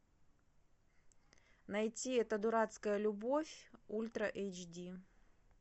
найти эта дурацкая любовь ультра эйч ди